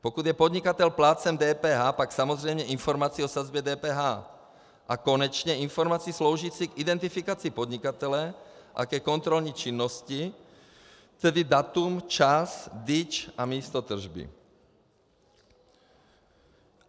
Pokud je podnikatel plátcem DPH, pak samozřejmě informaci o sazbě DPH a konečně informaci sloužící k identifikaci podnikatele a ke kontrolní činnosti, tedy datum, čas, DIČ a místo tržby.